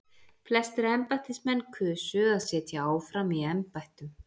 Flestir embættismenn kusu að sitja áfram í embættum.